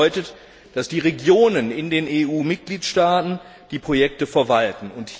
Das bedeutet, dass die Regionen in den EU Mitgliedstaaten die Projekte verwalten.